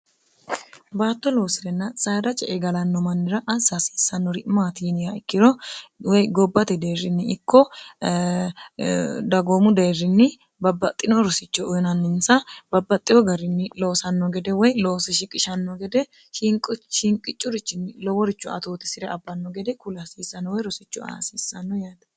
baatto loosirenna sairache egalanno mannira assa hasiissannori maatiiniya ikkiro woy gobbati deerrinni ikko dagoomu deerrinni babbaxxino rosicho uyinanninsa babbaxxiyo garinni loosanno gede woy loosishiqishanno gede shinqicurichinni loworicho atoote si're abbanno gede kulhasiissanno woy rosicho aasiissanno yaate